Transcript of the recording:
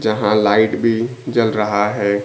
जहां लाइट भी जल रहा है।